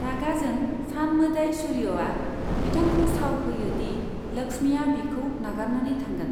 रागाजों सान मोदाय सूर्यआ बिथांखौ साव होयो दि लक्ष्मीआ बिखौ नागारनानै थांगोन।